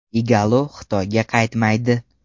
Igalo Xitoyga qaytmaydi.